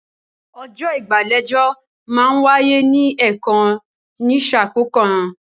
Ọjọ́ ìgbàlejò máa ń wáyé ní ẹ̀kan ní sà kọ̀ọ̀kan